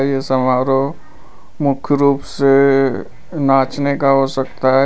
यह समारोह मुख्य रूप से नाचने का हो सकता है।